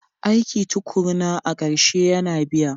Aiki tukuruna a ƙarshe yana biya.